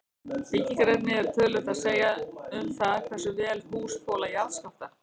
Byggingarefni hefur töluvert að segja um það hversu vel hús þola jarðskjálfta.